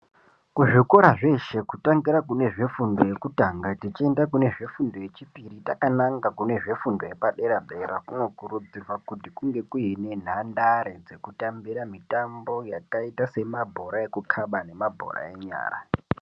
Zvikora zveshe kutangira kune zvefundo yekutanga techienda kune zvefundo yechipiri takananga kune zvefundo yepadera-dera kunokurudzirwa kuti kunge kuine nhandare dzekutambira mitambo yakaita semabhora ekukhaba nemabhora enyara.